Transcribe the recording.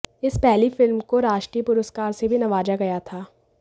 इस पहली फिल्म को राष्ट्रीय पुरुस्कार से भी नवाजा गया था